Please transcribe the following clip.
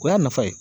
O y'a nafa ye